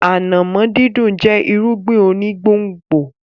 Ànàmọ́ dídùn jẹ́ irúgbìn onígbòǹgbò.